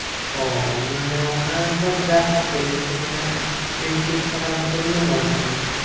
ও মানে ওখানে সব দেখার জিনিস মানে, picnic করার জন্য নো, ওখানে।